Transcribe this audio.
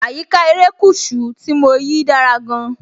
Àyíká erékùṣù tí mo yìí dára gan-an.